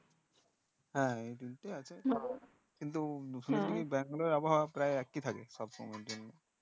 হ্যাঁ এই তিনটে আছে কিন্তু শুনেছি ব্যাঙ্গালোর এর আবহাওয়া একই থাকে সব সময় এর জন্য